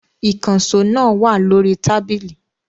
Ìkànṣó náà wà lórí tábìlì.